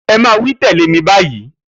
E̩ é̩ máa wí tè̩lé mi báyìí!